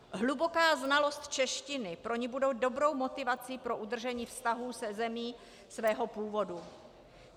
Hluboká znalost češtiny pro ni bude dobrou motivací pro udržení vztahů se zemí svého původu.